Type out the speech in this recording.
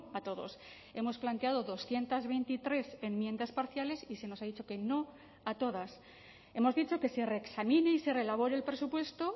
a todos hemos planteado doscientos veintitrés enmiendas parciales y se nos ha dicho que no a todas hemos dicho que se reexamine y se reelabore el presupuesto